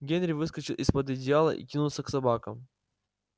генри выскочил из под одеяла и кинулся к собакам